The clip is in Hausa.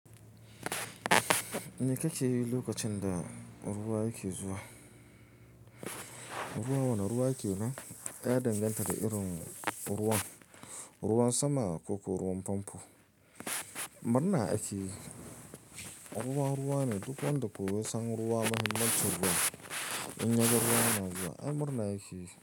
Me kake yi lokacin da ruwa yake zuwa? Ruwa wane ruwa yake nan? Ya danganta da irin ruwan, ruwan sama ko ruwan famfo. Murna ake yi. Ruwa ruwa ne duk wanda ko ya san ruwa muhimmancin ruwa in ya ga ruwa na zuwa. Ai murna yake yi.